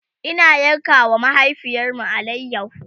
Ina yanka wa mahaifiyarmu alayaho